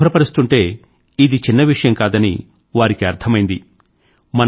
వాటిని శుభ్రపరుస్తుంటే ఇది చిన్న విషయం కాదని వారికి అర్థమైంది